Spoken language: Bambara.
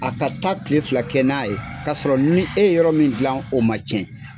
A ka taa kile fila kɛ n'a ye ka sɔrɔ ni e yɔrɔ min dilan o man cɛn.